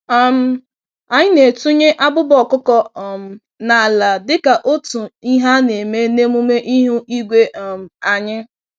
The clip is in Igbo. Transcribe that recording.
um Anyị na-etunye abụba ọkụkọ um n'ala dịka otú Ihe a-neme n'emume ihu igwe um anyị.